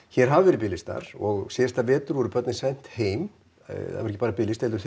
hér hafa verið biðlistar og síðasta vetur voru börnin send heim það var ekki bara biðlisti heldur